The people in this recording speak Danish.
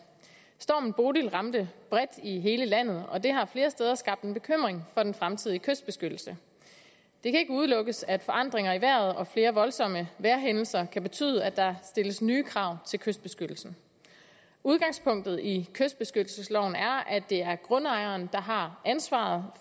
stormen bodil ramte bredt i hele landet og det har flere steder skabt en bekymring for den fremtidige kystbeskyttelse det kan ikke udelukkes at forandringer i vejret og flere voldsomme vejrhændelser kan betyde at der stilles nye krav til kystbeskyttelsen udgangspunktet i kystbeskyttelsesloven er at det er grundejeren der har ansvaret